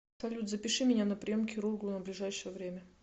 салют запиши меня на прием к хирургу на ближайшее время